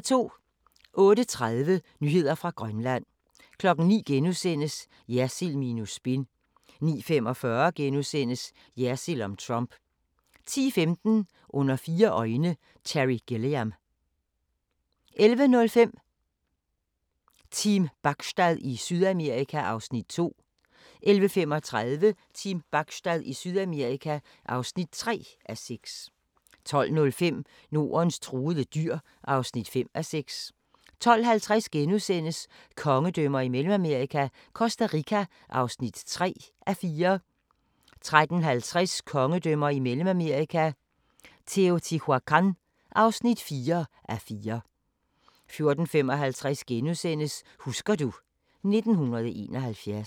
08:30: Nyheder fra Grønland 09:00: Jersild minus spin * 09:45: Jersild om Trump * 10:15: Under fire øjne – Terry Gilliam 11:05: Team Bachstad i Sydamerika (2:6) 11:35: Team Bachstad i Sydamerika (3:6) 12:05: Nordens truede dyr (5:6) 12:50: Kongedømmer i Mellemamerika – Costa Rica (3:4)* 13:50: Kongedømmer i Mellemamerika – Teotihuacan (4:4) 14:55: Husker du ... 1971 *